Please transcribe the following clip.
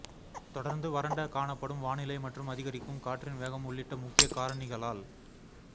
தொடர்ந்து வறண்ட காணப்படும் வானிலை மற்றும் அதிகரிக்கும் காற்றின் வேகம் உள்ளிட்ட முக்கிய காரணிகளால்